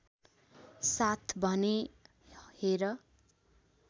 साथ भनेँ हेर